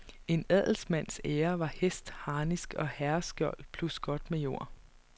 En adelsmands ære var hest, harnisk og herreskjold, plus godt med jord.